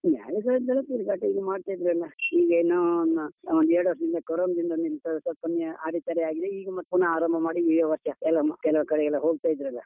ಮೇಳಗಳದ್ದೆಲ್ಲಾ ತಿರ್ಗಾಟ ಇಲ್ಲಿ ಮಾಡ್ತಾ ಇದ್ರು ಎಲ್ಲ, ಈಗೇನು ಒಂದು ಎರಡು ವರ್ಷದಿಂದ ಕೊರೊನದಿಂದ ನಿಂತೋಗಿ ಸ್ವಲ್ಪ ಕಮ್ಮಿ ಅಡೆತಡೆಯಾಗಿದೆ, ಈಗ ಮತ್ತೆ ನಾವು ಆರಂಭ ಮಾಡಿ, ಈ ವರ್ಷ ಎಲ್ಲ ಕೆಲವ್ ಕಡೆ ಎಲ್ಲ ಹೋಗ್ತಾ ಇದ್ದೆವಲ್ಲ.